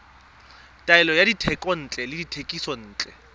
taolo ya dithekontle le dithekisontle